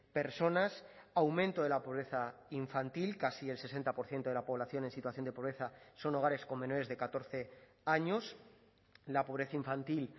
personas aumento de la pobreza infantil casi el sesenta por ciento de la población en situación de pobreza son hogares con menores de catorce años la pobreza infantil